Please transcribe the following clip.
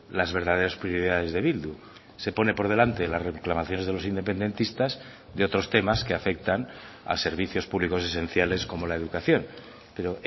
las verdaderas prioridades de bildu se pone por delante las reclamaciones de los independentistas de otros temas que afectan a servicios públicos esenciales como la educación pero